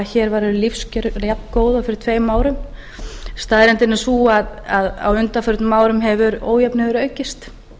hér væru lífskjör jafngóð og fyrir tveim árum staðreyndin er sú að á undanförnum árum hefur ójöfnuður aukist